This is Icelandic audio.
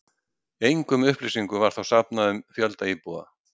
Engum upplýsingum var þá safnað um fjölda íbúa.